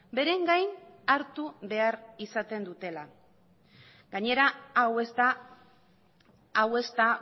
beren gain hartu behar izaten dutela gainera hau ez da hau ez da